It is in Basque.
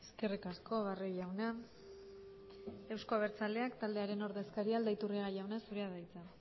eskerrik asko barrio jauna euzko abertzaleak taldearen ordezkaria aldaiturriaga jauna zurea da hitza